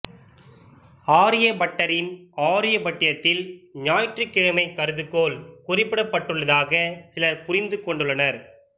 ஆரிய பட்டரின் ஆர்யபட்டியத்தில் ஞாயிற்றுமையக் கருதுகோள் குறிப்பிடப்பட்டுள்ளதாக சிலர் புரிந்து கொண்டுள்ளனர்